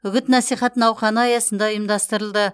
үгіт насихат науқаны аясында ұйымдастырылды